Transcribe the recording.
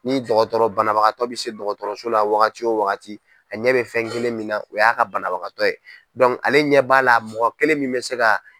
Ni dɔgɔtɔrɔ banabagatɔ bɛ se dɔgɔtɔrɔso la yan waagati o waagati a ɲɛ bɛ fɛn kelen min na o y'a ka banabagatɔ ye, ale ɲɛ b'a la mɔgɔ kelen min bɛ se ka.